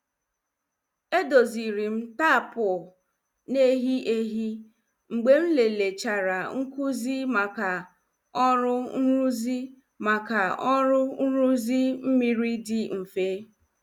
E dozirim tapu na-ehi ehi mgbe m lelechara nkụzi maka ọrụ nruzi maka ọrụ nruzi mmiri dị mfe.